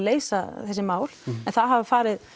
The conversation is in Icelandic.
leysa þessi mál en það hafa